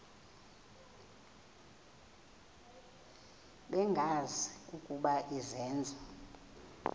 bengazi ukuba izenzo